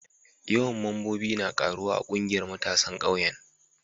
Yawan mambobi na karuwa a ƙungiyar matasan ƙauyen.